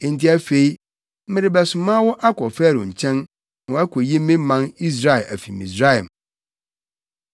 Enti afei, merebɛsoma wo akɔ Farao nkyɛn, na woakoyi me man Israel afi Misraim.”